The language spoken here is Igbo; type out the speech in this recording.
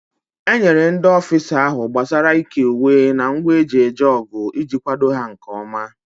A enyere ndị ọfisa ahụ gbasiri ị́ké uwe na ngwa eji eje ọgụ iji kwado ha nkeọma.